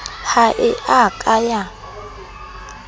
ha e a ka ya